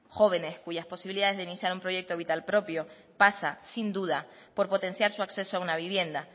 jóvenes cuyas posibilidades de iniciar un proyecto vital propio pasa sin duda por potenciar su acceso a una vivienda